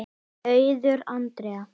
Auður Andrea.